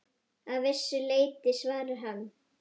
Að vissu leyti svarar hann.